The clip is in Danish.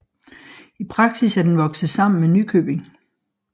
I praksis er den vokset sammen med Nykøbing